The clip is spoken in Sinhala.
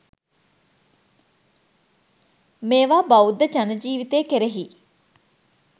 මේවා බෞද්ධ ජන ජීවිතය කෙරෙහි